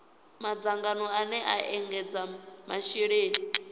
madzangano ane a ekedza masheleni